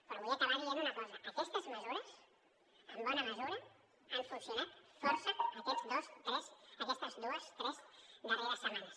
però vull acabar dient una cosa aquestes mesures en bona mesura han funcionat força aquestes dues tres darreres setmanes